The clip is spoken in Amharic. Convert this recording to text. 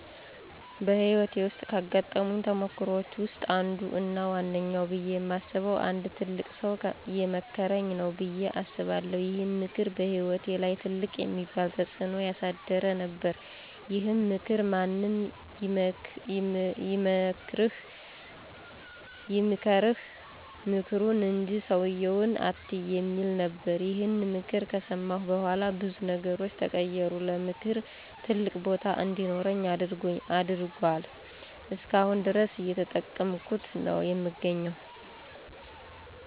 በህይወቴ ውስጥ ካጋጠሙኝ ተሞክሮወች ውስጥ አንዱ እና ዋነኛው ብየ የማስበው አንድ ትልቅ ሠው የመከረኝ ነው በየ አስባለሁ። ይሄም ምክር በህይወቴ ላይ ትልቅ የሚባል ተጽዕኖ ያሳደረ ነበረ። ይሄም ምክር ማንም ይምከርህ ምክሩን እንጂ ሠውየውን አትይ የሚል ነበረ። ይሄን ምክር ከሠማሁ በኋላ ብዙ ነገሮች ተቀየሩ። ለምክር ትልቅ ቦታ እንዲኖረኝ አድርጎአል። እስከአሁን ድረስ እየተጠቀምኩት ነው የምገኘው።